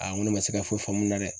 Aa n ko ne ma se ka foyi faamu nin na dɛ!